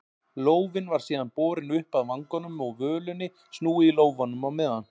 Lófinn var síðan borinn upp að vanganum og völunni snúið í lófanum á meðan.